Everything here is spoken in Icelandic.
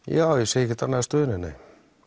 já ég sé ekkert annað í stöðunni